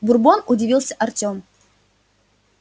бурбон удивился артём